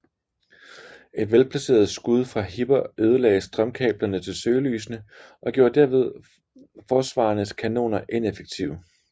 Et velplaceret skud fra Hipper ødelagde strømkablerne til søgelysene og gjorde derved forsvarernes kanoner ineffektive